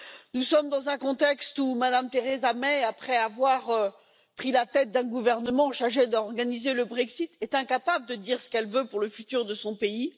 Nous sommes dans un contexte où Mme Theresa May, après avoir pris la tête d'un gouvernement chargé d'organiser le Brexit, est incapable de dire ce qu'elle veut pour le futur de son pays.